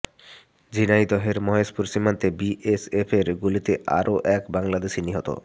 ঝিনাইদহের মহেশপুর সীমান্তে বিএসএফের গুলিতে আরও এক বাংলাদেশি নিহত